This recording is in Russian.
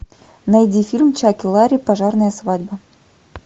найди фильм чак и ларри пожарная свадьба